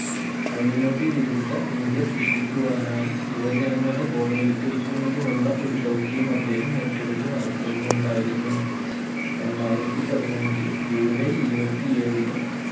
അഴിമതി വിരുദ്ധ ഇന്ത്യ സൃഷ്ടിക്കുവാനായി യുവജനങ്ങളെ ബോധവത്കരിക്കുന്നതിനുള്ള ഒരു ദൗത്യം അദ്ദേഹം ഏറ്റെടുത്ത് നടത്തുന്നുണ്ടായിരുന്നു രണ്ടായിരത്തി പതിനഞ്ച് ജൂലൈ ഇരുപത്തി ഏഴിന്